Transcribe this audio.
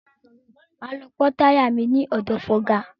Máa lọ pọ́ táyà mi ní ọ̀dọ̀ fọga.